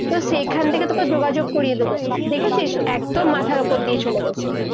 তো সেখান থেকে তোকে যোগাযোগ করিয়ে দেবো। দেখেছিস, একদম মাথার উপর দিয়ে চলে গেছে।